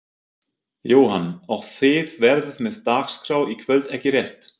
Jóhann: Og þið verðið með dagskrá í kvöld ekki rétt?